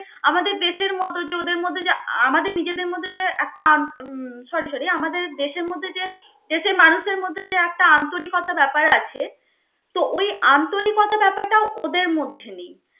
আমাদের দেশের মত যে ওদের মধ্যে যে আহ আমাদের নিজেদের মধ্যে যে একটা আন~ উম sorry sorry আমাদের দেশের মধ্যে যে, দেশের মানুষের মধ্যে যে একটা আন্তরিকতা ব্যাপার আছে তো ওই আন্তরিকতা ব্যাপার টা ওদের মধ্যে নেই